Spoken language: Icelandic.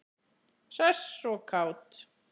Hress og kát.